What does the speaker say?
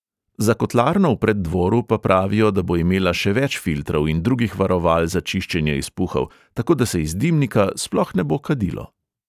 Za kotlarno v preddvoru pa pravijo, da bo imela še več filtrov in drugih varoval za čiščenje izpuhov, tako da se iz dimnika sploh ne bo kadilo.